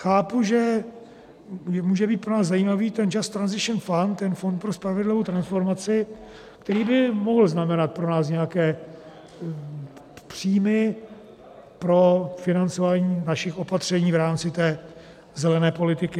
Chápu, že může být pro nás zajímavý ten Just Transition Fund, ten Fond pro spravedlivou transformaci, který by mohl znamenat pro nás nějaké příjmy pro financování našich opatření v rámci té zelené politiky.